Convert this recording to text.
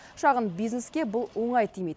шағын бизнеске бұл оңай тимейді